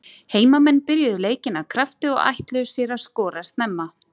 Heimamenn byrjuðu leikinn af krafti og ætluðu sér að skora snemma.